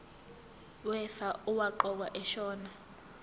wefa owaqokwa ashona